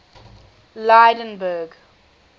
lydenburg